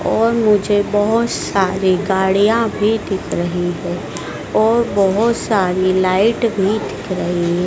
और मुझे बहोत सारी गाड़ियां भी दिख रही है और बहोत सारी लाइट भी दिख रही--